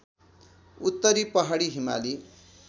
उत्तरी पहाडी हिमाली